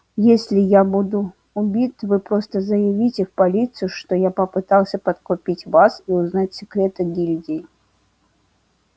если я буду убит вы просто заявите в полицию что я пытался подкупить вас и узнать секреты гильдии